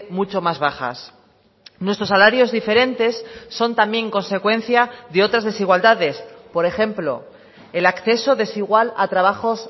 mucho más bajas nuestros salarios diferentes son también consecuencia de otras desigualdades por ejemplo el acceso desigual a trabajos